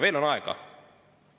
Veel on aega.